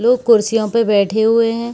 लोग कुर्सियों पे बैठे हुए हैं।